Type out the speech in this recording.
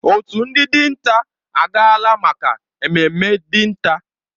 Òtù ndị dinta agaala maka ememme dinta.